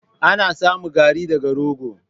Ana samo Garri daga rogo.